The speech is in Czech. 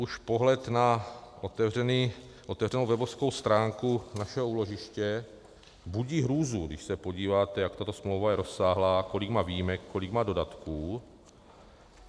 Už pohled na otevřenou webovou stránku našeho úložiště budí hrůzu, když se podíváte, jak tato smlouva je rozsáhlá, kolik má výjimek, kolik má dodatků.